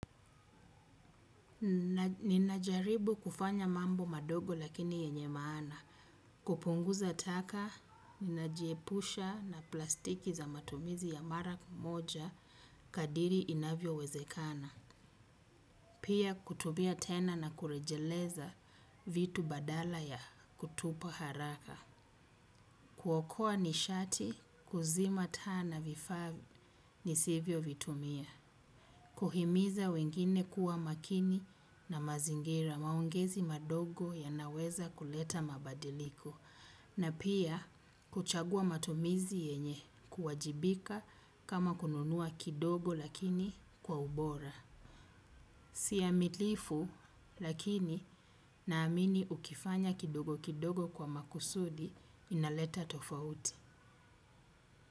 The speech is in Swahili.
Ninajaribu kufanya mambo madogo lakini yenye maana. Kupunguza taka, ninajiepusha na plastiki za matumizi ya mara moja kadiri inavyo wezekana. Pia kutubia tena na kurejeleza vitu badala ya kutupa haraka. Kuokoa nishati, kuzima taa na vifaa nisivyo vitumia. Kuhimiza wengine kuwa makini na mazingira maongezi madogo yanaweza kuleta mabadiliko. Na pia kuchagua matumizi yenye kuwajibika kama kununua kidogo lakini kwa ubora. Sia mitlifu lakini naamini ukifanya kidogo kidogo kwa makusudi inaleta tofauti.